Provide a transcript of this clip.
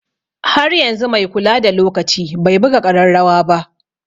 Har yanzu mai kula da lokaci bai buga ƙararrawa ba.